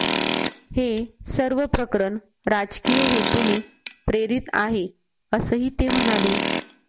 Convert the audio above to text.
हे सर्व प्रकरण राजकीय हेतूने प्रेरित आहे असंही ते म्हणाले